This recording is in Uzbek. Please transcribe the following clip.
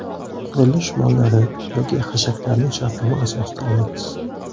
Qurilish mollari yoki hashaklarni shartnoma asosida olamiz.